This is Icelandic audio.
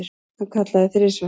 Hann kallaði þrisvar.